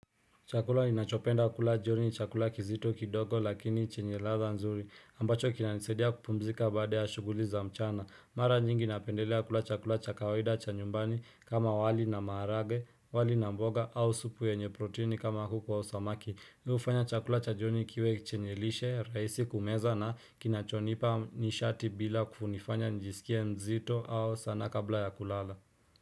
Chakula ninachopenda kula jioni ni chakula kizito kidogo lakini chenye ladha nzuri, ambacho kinanisaidia kupumzika baada ya shughuli za mchana. Mara nyingi napendelea kula chakula cha kawaida cha nyumbani kama wali na maharage, wali na mboga au supu yenye protini kama kuku au samaki. Hufanya chakula cha joni kiwe chenye lishe, rahisi kumeza na kinachonipa nishati bila kunifanya nijisikie mzito au sana kabla ya kulala.